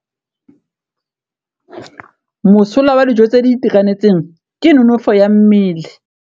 Mosola wa dijô tse di itekanetseng ke nonôfô ya mmele.